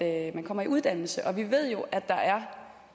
at man kommer i uddannelse vi ved jo